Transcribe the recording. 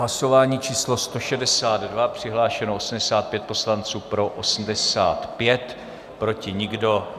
Hlasování číslo 162, přihlášeno 85 poslanců, pro 85, proti nikdo.